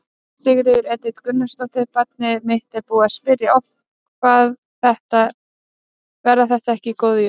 Sigríður Edith Gunnarsdóttir: Barnið mitt er búið að spyrja oft: Verða þetta ekki góð jól?